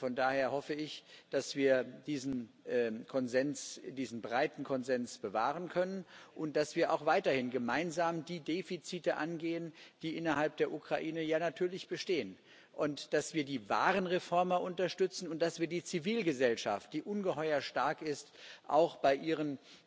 Von daher hoffe ich, dass wir diesen breiten Konsens bewahren können und dass wir auch weiterhin gemeinsam die Defizite angehen, die innerhalb der Ukraine ja natürlich bestehen, dass wir die wahren Reformer unterstützen und dass wir die Zivilgesellschaft, die ungeheuer stark ist, auch bei ihren